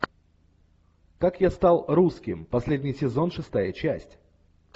как я стал русским последний сезон шестая часть